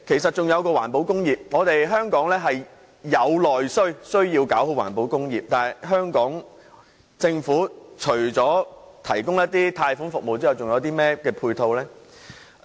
代理主席，香港有內需，必須做好環保工業，但香港政府除提供一些貸款服務之外，似乎再沒有其他配套。